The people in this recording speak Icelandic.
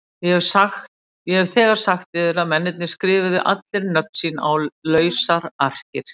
Ég hef þegar sagt yður að mennirnir skrifuðu allir nöfn sín á lausar arkir.